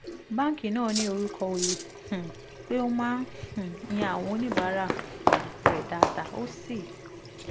báńkì náà ní orúkọ oyè um pé ó máa um ń yan àwọn oníbàárà um rẹ̀ dáadáa ó sì